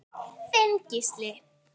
Þinn Gísli.